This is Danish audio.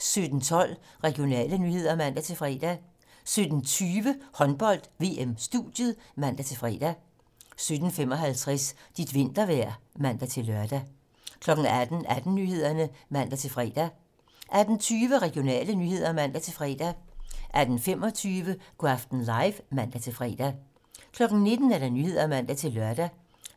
17:12: Regionale nyheder (man-fre) 17:20: Håndbold: VM-studiet (man-fre) 17:55: Dit vintervejr (man-lør) 18:00: 18 Nyhederne (man-fre) 18:20: Regionale nyheder (man-fre) 18:25: Go' aften live (man-fre) 19:00: 19 Nyhederne (man-lør)